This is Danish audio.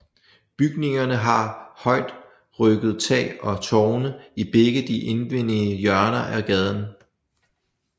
Bygningerne har højrygget tag og tårne i begge de indvendige hjørner af gården